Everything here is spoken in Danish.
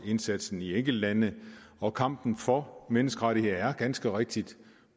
indsatsen i enkeltlande og kampen for menneskerettigheder er ganske rigtigt